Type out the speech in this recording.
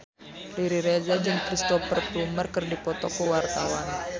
Riri Reza jeung Cristhoper Plumer keur dipoto ku wartawan